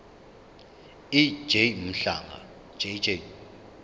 ej mhlanga jj